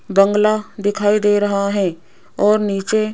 बंगला दिखाई दे रहा है और नीचे--